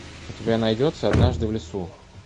у тебя найдется однажды в лесу